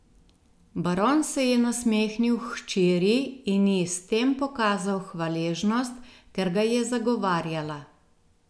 Baron se je nasmehnil hčeri in ji s tem pokazal hvaležnost, ker ga je zagovarjala.